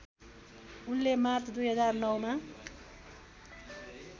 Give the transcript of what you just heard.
उनले मार्च २००९ मा